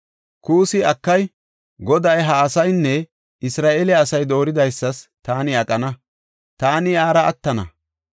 Kuussi, “Akay! Goday, ha asaynne Isra7eele asay dooridaysas taani aqana; taani iyara attana.